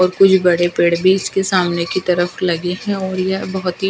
और कुछ बड़े पेड़ भी इसके सामने की तरफ लगे हैं और यह बहुत ही--